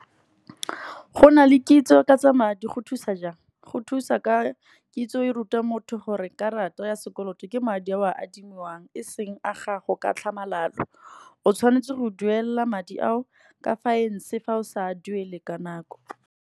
Go na le kitso ka tsa madi go thusa jang, go thusa ka, kitso e ruta motho gore karata ya sekoloto ke madi a o a adimiwang, eseng a gago. Ka tlhamalalo o tshwanetse go duela madi ao ka fa o sa duele ka nako.